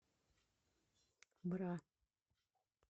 бра